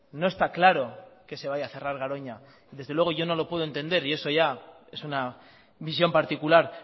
no está claro que se vaya a cerrar garoña desde luego yo no lo puedo entender y eso ya es una visión particular